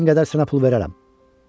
istədiyin qədər sənə pul verərəm.